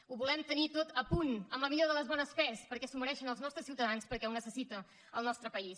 ho volem tenir tot a punt amb la millor de les bones fes perquè s’ho mereixen els nostres ciutadans perquè ho necessita el nostre país